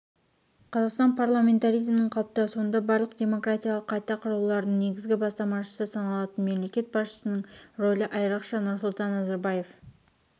қазақстан парламентаризмінің қалыптасуында барлық демократиялық қайта құрулардың негізгі бастамашысы саналатын мемлекет басшысының рөлі айрықша нұрсұлтан назарбаев